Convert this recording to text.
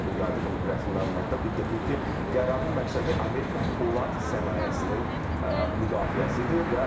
Ağ evin yaydığı rəsmi məlumatda bildirilib ki, qərarın məqsədi Amerika polad sənayesinin müdafiəsidir.